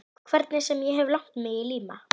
Hvernig sem ég hef lagt mig í líma.